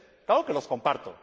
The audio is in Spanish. claro que los comparto.